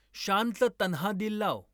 शानचं तन्हा दिल लाव.